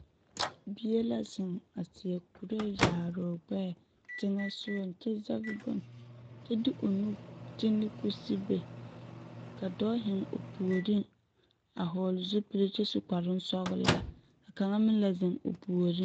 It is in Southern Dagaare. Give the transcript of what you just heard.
Bie la zeŋ a seɛ kuree yaare o ɡbɛɛ teŋɛ soɡaŋ kyɛ de o nu te ne kusibe ka dɔɔ zeŋ o puoriŋ a hɔɔle zupili kyɛ su kparoŋ sɔɡelaa ka kaŋa meŋ la zeŋ o puoriŋ .